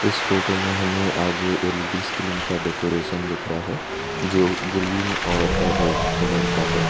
इस फोटो में हमें आगे एल_ई_डी स्क्रीन का डेकोरेशन दिख रहा है जो ग्रीन और रेड कलर का है।